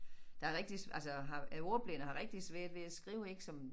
Der rigtig altså har er ordblind og har rigtig svært ved at skrive ik som